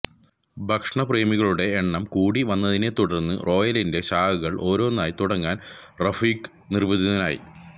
ഭക്ഷണ പ്രേമികളുടെ എണ്ണം കൂടി വന്നതിനെ തുടര്ന്ന് റോയലിന്റെ ശാഖകള് ഓരോന്നായി തുടങ്ങാന് റഫീഖ് നിര്ബന്ധിതനായി